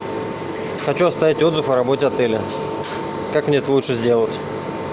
хочу оставить отзыв о работе отеля как мне это лучше сделать